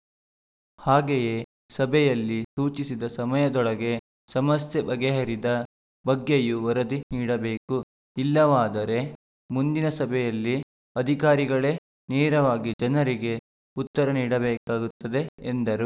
ಹಾಗೇಯೇ ಸಭೆಯಲ್ಲಿ ಸೂಚಿಸಿದ ಸಮಯದೊಳಗೆ ಸಮಸ್ಯೆ ಬಗೆಹರಿದ ಬಗ್ಗೆಯೂ ವರದಿ ನೀಡಬೇಕು ಇಲ್ಲವಾದರೆ ಮುಂದಿನ ಸಭೆಯಲ್ಲಿ ಅಧಿಕಾರಿಗಳೇ ನೇರವಾಗಿ ಜನರಿಗೆ ಉತ್ತರ ನೀಡಬೇಕಾಗುತ್ತದೆ ಎಂದರು